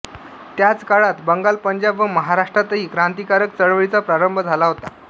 त्याच काळात बंगाल पंजाब व महाराष्ट्रातही क्रांतिकारक चळवळींचा प्रारंभ झाला होता